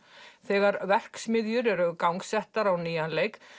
þegar verksmiðjur eru gangsettar á nýjan leik